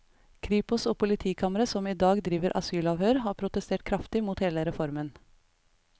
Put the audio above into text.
Kripos og politikamre som i dag driver asylavhør, har protestert kraftig mot hele reformen.